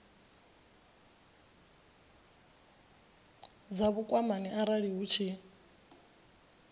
dza vhukwamani arali hu tshi